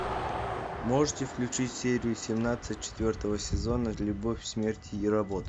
можете включить серию семнадцать четвертого сезона любовь смерть и роботы